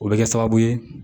O bɛ kɛ sababu ye